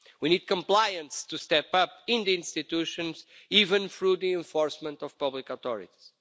We need compliance to step up in the institutions, even through the enforcement of public authorities.